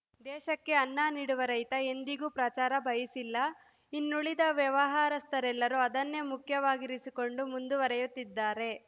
ದೇಶಕ್ಕೆ ಅನ್ನ ನೀಡುವ ರೈತ ಎಂದಿಗೂ ಪ್ರಚಾರ ಬಯಸಿಲ್ಲ ಇನ್ನುಳಿದ ವ್ಯವಹಾರಸ್ಥರೆಲ್ಲರೂ ಅದನ್ನೇ ಮುಖ್ಯವಾಗಿರಿಸಿಕೊಂಡು ಮುಂದುವರೆಯುತ್ತಿದ್ದಾರೆ